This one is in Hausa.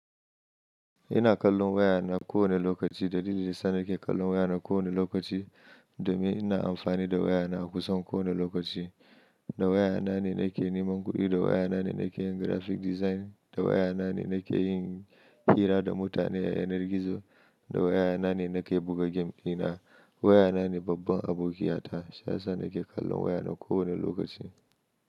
Ina kallon wayana kowane lokaci. Dalilin sa ni ke kallon wayana kowane lokaci domin ina amfani da wayana a kusan kowane lokaci. Da wayana ne na ke neman kuɗi, da wayana ne na ke yin graphic design, da wayana ne na ke yin hira da mutane yanar gizo, da wayana ne na ke buga game ina wayana ne babban abokiya ta. Shi yasa nan ke kallon wayana kowane lokaci.